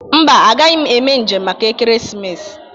Mba, agaghị m eme njem maka ekeresimesi.